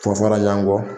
Fɔ fɔra ɲɔgɔn kɔ